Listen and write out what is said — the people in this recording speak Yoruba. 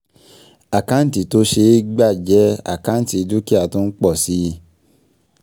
Àkáǹtì tó ṣe é gbà jẹ́ àkáǹtì dúkìá tó ń pọ̀ si